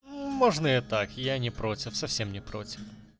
мможно и так я не против совсем не против